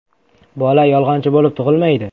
Bola yolg‘onchi bo‘lib tug‘ilmaydi.